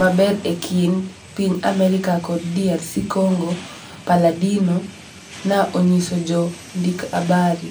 maber e kind piny America kod DRC Congo," Palladino na onyiso jo ndik habari